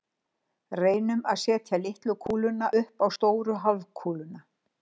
Reynum að setja litlu kúluna upp á stóru hálfkúluna.